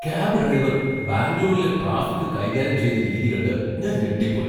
Cab driver ബാംഗ്ലൂരിലെ traffic കൈകാര്യം ചെയ്ത രീതി കണ്ട് ഞാൻ ഞെട്ടിപ്പോയി .